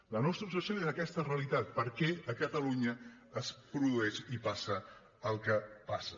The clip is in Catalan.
la nostra obsessió és aquesta realitat per què a catalunya es produeix i passa el que passa